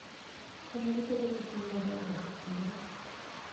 Konyogi bedo gi chuny mar riwruok e kindgi.